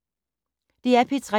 DR P3